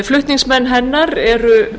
flutningsmenn hennar eru